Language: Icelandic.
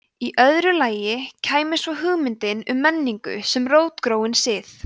í öðru lagi kæmi svo hugmyndin um menningu sem rótgróinn sið